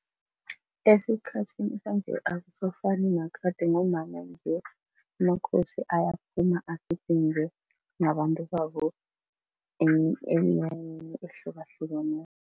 Esikhathini sanje akusafani nakade ngombana nje amakhosi ayaphuma agidinge nabantu babo eminyanyeni ehlukahlukeneko.